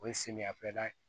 O ye samiyɛfɛda ye